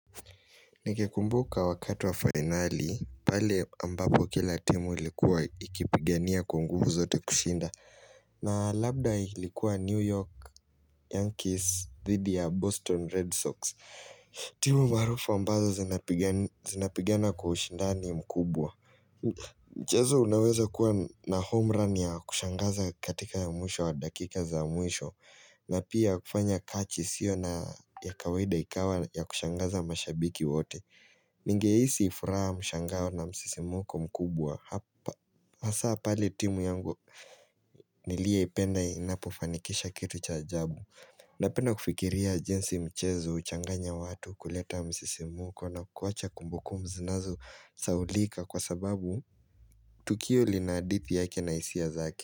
Nikikumbuka wakati wa finali, pale ambapo kila timu ilikuwa ikipigania kwa nguvu zote kushinda. Na labda ilikuwa New York Yankees dhidi ya Boston Red Sox. Timu maarufa ambazo zinapigana kwa ushindani mkubwa. Mchezo unaweza kuwa na homerun ya kushangaza katika ya mwisho wa dakika za mwisho. Na pia kufanya kachi isiyo na ya kawaida ikawa ya kushangaza mashabiki wote. Ningehisi furaha mshangao na msisimuko mkubwa hapa hasa pale timu yangu nilie ipenda inapo fanikisha kitu cha ajabu Napenda kufikiria jinsi mchezo huchanganya watu kuleta msisimuko na kuacha kumbukumbu zinazo sahulika kwa sababu Tukio lina hadithi yake na hisia zake.